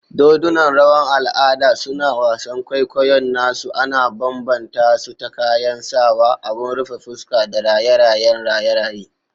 Dodunan rawan al'ada, suna wasan kwaikwayon nasu ana bambanta su ta kayan sawa, abin rufe fuska, da raye-rayen raye-raye.